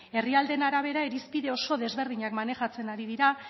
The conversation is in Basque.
herrialdeen arabera irizpide oso desberdinak manejatzen ari dira